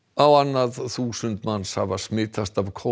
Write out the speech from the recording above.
á annað þúsund manns hafa smitast af